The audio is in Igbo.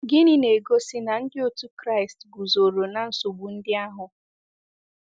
Gịnị na-egosi na ndị otu Kraịst guzoro na nsogbu ndị ahụ?